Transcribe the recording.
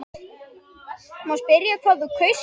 Má spyrja hvað þú kaust?